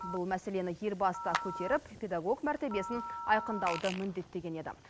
бұл мәселені елбасы да көтеріп педагог мәртебесін айқындауды міндеттеген еді